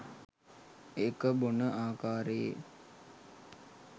ඒක බොන ආකාරයේ